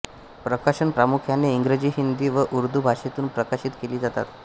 प्रकाशन प्रामुख्याने इंग्रजीहिंदी व उर्दू भाषेतून प्रकाशित केली जातात